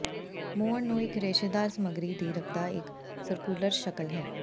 ਮੋਹਰ ਨੂੰ ਇੱਕ ਰੇਸ਼ੇਦਾਰ ਸਮੱਗਰੀ ਦੀ ਰੱਖਦਾ ਇੱਕ ਸਰਕੂਲਰ ਸ਼ਕਲ ਹੈ